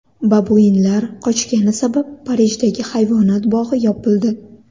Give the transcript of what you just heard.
Babuinlar qochgani sabab Parijdagi hayvonot bog‘i yopildi.